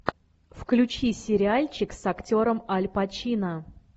включи сериальчик с актером аль пачино